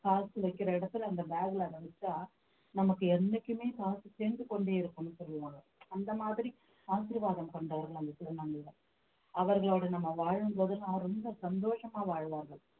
காசு வைக்கிற இடத்துல அந்த bag ல அத வெச்சா நமக்கு என்னைக்குமே காசு சேர்ந்து கொண்டே இருக்கும்னு சொல்லுவாங்க அந்த மாதிரி ஆசிர்வாதம் கொண்டவர்கள் அந்த திருநங்கைதான் அவர்களோடு நம்ம வாழும் போதெல்லாம் ரொம்ப சந்தோஷமா வாழ்வார்கள்